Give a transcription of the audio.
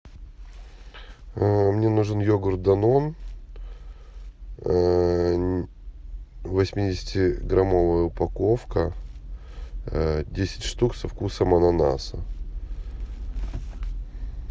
мне нужен йогурт данон восьмидесяти граммовая упаковка десять штук со вкусом ананаса